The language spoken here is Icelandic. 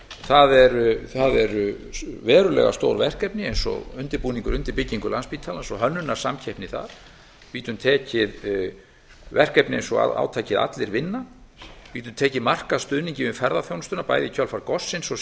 það eru verulega stór verkefni eins og undirbúningur undir byggingu landspítalans og hönnunarsamkeppni þar við getum tekið verkefni eins og átakið allir vinna við getum tekið markaðsstuðninginn við ferðaþjónustuna bæði í kjölfar gossins og